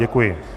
Děkuji.